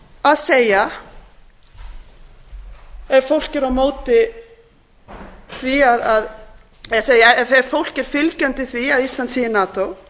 að segja ef fólk er fylgjandi því að ísland sé í nato sem ég er ekki ég vil að